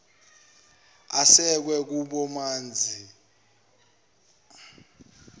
asekwe kububanzi ekuqanjweni